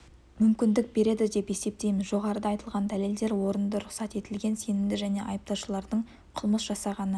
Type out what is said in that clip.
мүмкіндік береді деп есептейміз жоғарыда айтылған дәлелдер орынды рұқсат етілген сенімді және айыпталушылардың қылмыс жасағаны